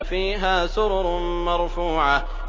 فِيهَا سُرُرٌ مَّرْفُوعَةٌ